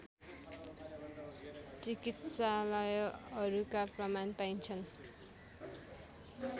चिकित्सालयहरूका प्रमाण पाइन्छन्